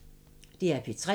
DR P3